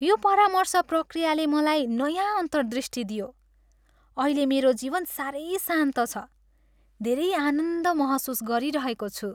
यो परामर्श प्रक्रियाले मलाई नयाँ अन्तर्दृष्टि दियो । अहिले मेरो जीवन साह्रै शान्त छ। धेरै आनन्द महसुस गरिरहेको छु।